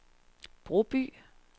Broby